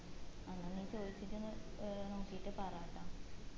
എന്ന നീ ചോയിച്ചിട്ട് ഏർ നോക്കിയിട്ട് പറട്ടാ